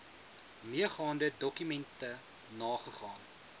meegaande dokumente nagegaan